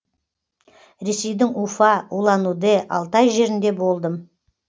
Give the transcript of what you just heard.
ресейдің уфа улан удэ алтай жерінде болдым